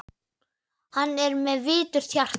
Hann er með viturt hjarta.